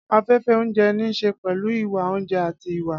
Afẹ́fẹ́ oúnjẹ ní í ṣe pẹ̀lú ìwà oúnjẹ àti ìwà.